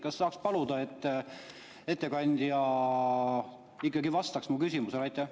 Kas saaks paluda, et ettekandja ikkagi vastaks mu küsimusele?